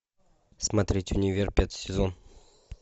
смотреть универ пятый сезон